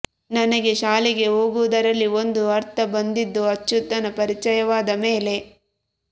ನನಗೆ ಶಾಲೆಗೆ ಹೋಗುವುದರಲ್ಲಿ ಒಂದು ಅರ್ಥ ಬಂದಿದ್ದು ಅಚ್ಯುತನ ಪರಿಚಯವಾದ ಮೇಲೆ